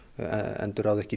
endurráða ekki